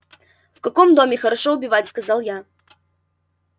в каком доме хорошо убивать сказал я